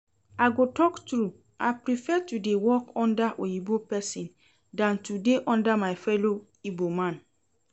I go talk true, I prefer to dey work under oyinbo person dan to dey under my fellow igbo man